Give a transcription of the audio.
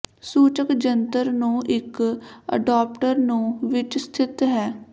ਸੂਚਕ ਜੰਤਰ ਨੂੰ ਇੱਕ ਅਡਾਪਟਰ ਨੂੰ ਵਿੱਚ ਸਥਿਤ ਹੈ